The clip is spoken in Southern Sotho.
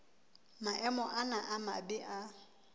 maemo ana a mabe a